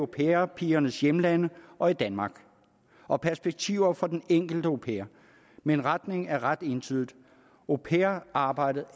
pair pigernes hjemlande og i danmark og perspektiverne for den enkelte au pair men retningen er ret entydig au pair arbejdet